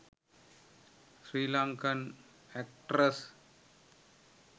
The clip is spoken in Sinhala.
sri lankan actress